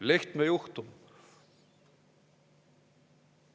Lehtme juhtum.